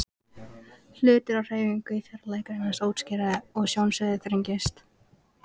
Hlutir á hreyfingu í fjarlægð greinast óskýrar og sjónsviðið þrengist.